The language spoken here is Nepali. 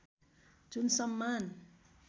जुन सम्मान